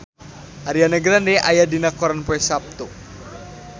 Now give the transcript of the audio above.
Ariana Grande aya dina koran poe Saptu